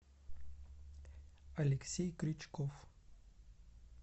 алексей крючков